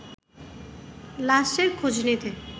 লাশের খোঁজ নিতে